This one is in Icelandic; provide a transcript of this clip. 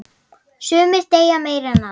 Sumir deyja meira en aðrir.